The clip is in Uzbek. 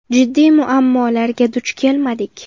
Jiddiy muammolarga duch kelmadik.